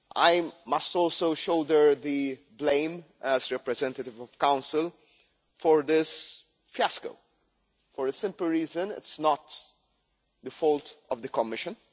I must also shoulder the blame, as representative of the Council, for this fiasco for the simple reason that it is not the fault of the Commission.